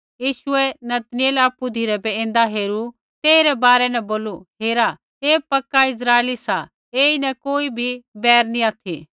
यीशुऐ नतनऐल आपु धिरै बै ऐन्दा हेरू तेइरै बारै न बोलू हेरा ऐ पक्का इस्राइली सा ऐईन कोई भी बैर नी ऑथि